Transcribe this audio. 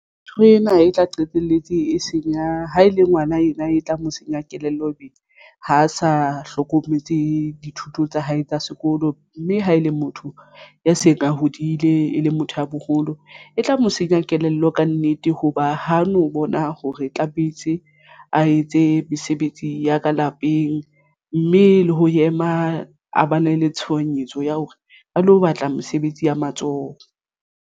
Ntho ena e tla qetelletse e senya ha e le ngwana ena e tla mo senya kelello ho be ho sa hlokometse dithuto tsa hae tsa sekolo mme ha e le motho ya seng a hodile e le motho ya boholo e tla mo ho senya kelello. Kannete hoba ho no bona hore tlametse a etse mesebetsi ya ka lapeng mme le ho ema a ba ne le tshohanyetso ya hore a lo batla mesebetsi ya matsoho.